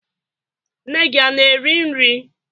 Nne gị ana-eri nri?